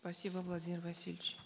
спасибо владимир васильевич